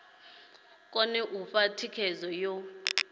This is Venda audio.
kone u fha thikhedzo yo